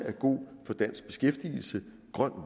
en